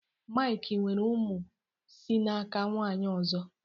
Mike nwere ụmụ si n'aka nwaanyị ọzọ